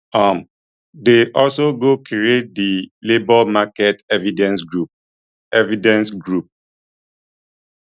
um dem also go create di labour market evidence group evidence group